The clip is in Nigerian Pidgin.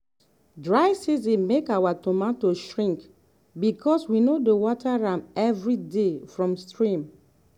dry season make our tomato shrink because we no dey water am every day from stream.